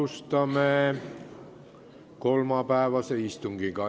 Alustame kolmapäevast istungit.